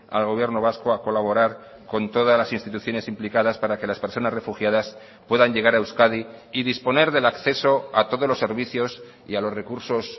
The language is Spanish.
al gobierno vasco a colaborar con todas las instituciones implicadas para que las personas refugiadas puedan llegar a euskadi y disponer del acceso a todos los servicios y a los recursos